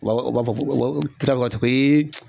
Ba u b'a fɔ ko